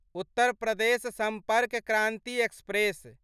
Uttar Pradesh Sampark Kranti express